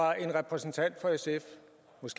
hvis